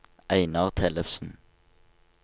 Einar Tellefsen